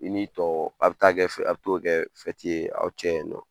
I n'i tɔw a bi taa kɛ a bi t'o kɛ ye aw cɛ yen nɔn.